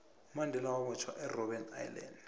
umandela wabotjhwa erbben island